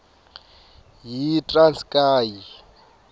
yitranskayi